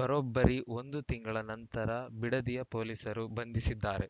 ಬರೊಬ್ಬರಿ ಒಂದು ತಿಂಗಳ ನಂತರ ಬಿಡದಿ ಪೊಲೀಸರು ಬಂಧಿಸಿದ್ದಾರೆ